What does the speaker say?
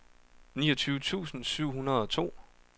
niogtyve tusind syv hundrede og to